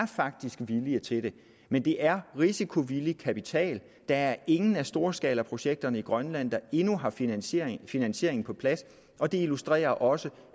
villige til det men det er risikovillig kapital der er ingen af storskalaprojekterne i grønland der endnu har finansieringen finansieringen på plads og det illustrerer også